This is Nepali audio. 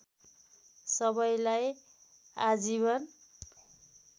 सबैलाई आजीवन